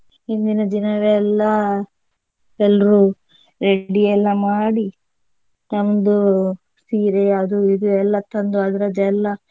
ಹಿಂದಿನ ದಿನವೇ ಎಲ್ಲಾ ಎಲ್ರೂ ready ಎಲ್ಲ ಮಾಡಿ ನಮ್ದು ಸೀರೆ ಅದು ಇದು ಎಲ್ಲಾ ತಂದು ಅದ್ರದ್ದೆಲ್ಲಾ.